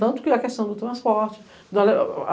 Tanto que a questão do transporte.